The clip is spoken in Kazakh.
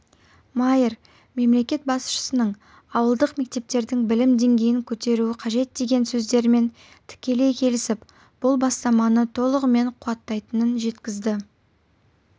майер мемлекет басшысының ауылдық мектептердің білім деңгейін көтеру қажетдеген сөздерімен тікелей келісіп бұл бастаманы толығымен қуаттайтынын жеткізді